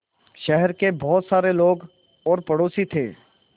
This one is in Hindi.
शहर के बहुत सारे लोग और पड़ोसी थे